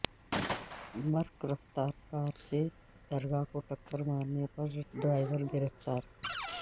برق رفتار کار سے درگاہ کو ٹکر مارنے پر ڈرائیور گرفتار